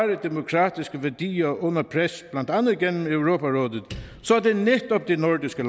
demokratiske værdier under pres blandt andet gennem europarådet så er det netop de nordiske